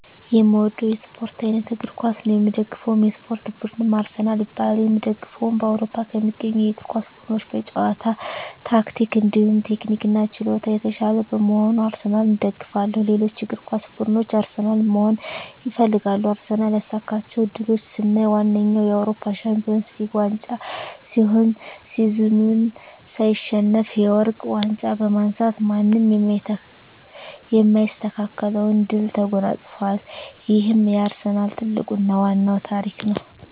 የእምወደዉ የእስፖርት አይነት እግር ኳስ ነዉ። የምደግፈዉ የእስፖርት ቡድንም አርሰናል ይባላል። የእምደግፈዉም በአዉሮፖ ከሚገኙ የእግር ኳስ ቡድኖች በጨዋታ ታክቲክ እንዲሁም ቴክኒክና ችሎታ የታሻለ በመሆኑ አርሰናልን እደግፋለሁ። ሌሎች እግር ኳስ ብድኖች አርሰናልን መሆን ይፈልጋሉ። አርሰናል ያሳካቸዉ ድሎች ስናይ ዋነኛዉ የአዉሮፖ ሻንፒወንስ ሊግ ዋንጫ ሲሆን ሲዝኑን ሳይሸነፍ የወርቅ ዋንጫ በማንሳት ማንም የማይስተካከለዉን ድል ተጎናፅፋል ይሄም የአርሰናል ትልቁና ዋናዉ ታሪክ ነዉ።